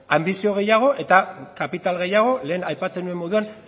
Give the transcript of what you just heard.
anbizio gehiago eta kapital gehiago lehen aipatzen nuen moduan